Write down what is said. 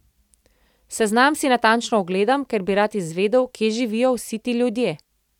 Seznam si natančno ogledam, ker bi rad izvedel, kje živijo vsi ti ljudje.